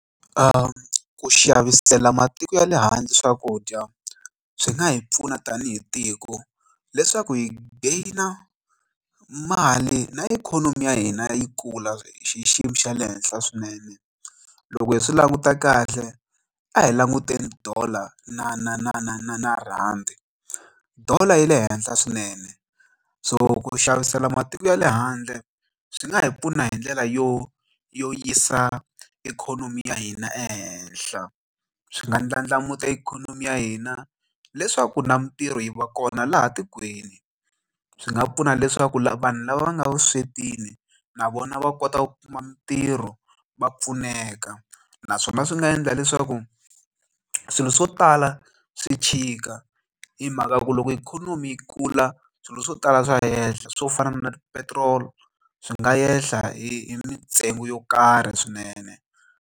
Ku xavisela matiko ya le handle swakudya swi nga hi pfuna tanihi tiko leswaku hi gain a mali na ikhonomi ya hina yi kula xiyimo xa le henhla swinene loko hi swi languta kahle a hi languteni Dollar na na na na na na rhandi Dollar yi le henhla swinene so ku xavisela matiko ya le handle swi nga hi pfuna hi ndlela yo yo yisa ikhonomi ya hina ehenhla swi nga ndlandlamuxa ikhonomi ya hina leswaku na mintirho yi va kona laha tikweni swi nga pfuna leswaku vanhu lava nga vuswetini na vona va kota ku kuma mintirho va pfuneka naswona swi nga endla leswaku swilo swo tala swi tshika hi mhaka ya ku loko ikhonomi yi kula swilo swo tala swa hehla swo fana na petrol swi nga hehla hi mintsengo yo karhi swinene.